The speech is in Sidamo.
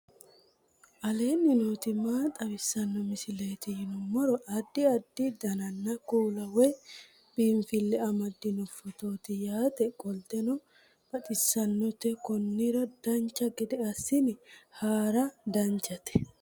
aleenni nooti maa xawisanno misileeti yinummoro addi addi dananna kuula woy biinsille amaddino footooti yaate qoltenno baxissannote konnira dancha gede assine haara danchate